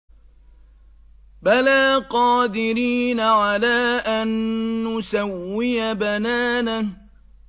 بَلَىٰ قَادِرِينَ عَلَىٰ أَن نُّسَوِّيَ بَنَانَهُ